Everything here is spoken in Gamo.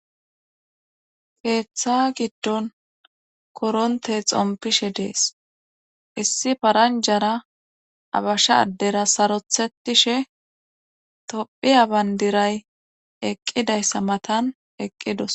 keeththa giddon koronte xompishe dees issi paranjara abashsha addera sarothetishe tophiya bandiray eqqidayssa matan eqqidos